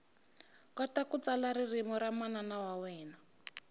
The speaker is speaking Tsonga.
kota ku tsala ririmi ra manana wa wena